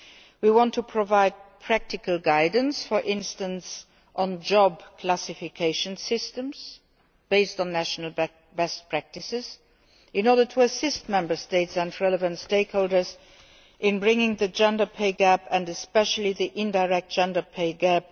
We want to provide practical guidance, for instance, on job classification systems, based on national best practices, in order to assist Member States and relevant stakeholders in bridging the gender pay gap and especially the indirect gender pay